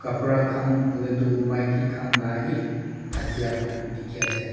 kapra khan hoilae tu maki khan la he thakya dikhiase.